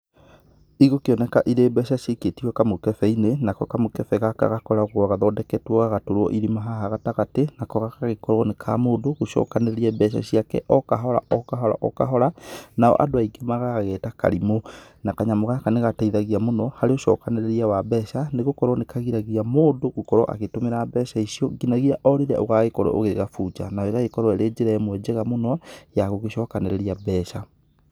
Igũkĩoneka irĩ mbeca cikĩtio kamũkebe-inĩ, nako kamũkebe gaka gakoragwo gathondeketwo gagatũrwo irima haha gatagatĩ, nako gagagĩkorwo nĩ ka mũndũ gũcokanĩrĩria mbeca ciake o kahora o kahora o kahora, nao andũ aingĩ magagĩgeta karimũ. Na kanyamũ gaka nĩ gateithagia mũno, harĩ ũcokanĩrĩria wa mbeca nĩ gũkorwo nĩ kũgiragia mũndũ gũkorwo agĩtũmĩra mbeca icio nginyagia o rĩrĩa ũgagĩkorwo ũgĩgabunja, na ĩgagĩkorwo ĩrĩ njĩra ĩmwe njega mũno ya gũgĩcokanĩrĩria mbeca.